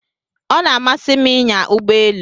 O na-amasị m inya Ụgbọ elu